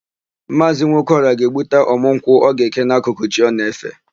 Maazị Nwokeọra ga-egbuta ọ̀mụ́ nkwụ ọ ga-eke n'akụkụ chi o na-efe.